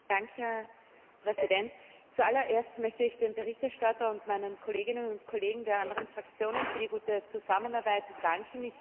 Herr Präsident! Zu allererst möchte ich dem Berichterstatter und meinen Kolleginnen und Kollegen der anderen Fraktionen für die gute Zusammenarbeit danken.